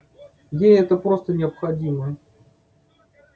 ей это просто необходимо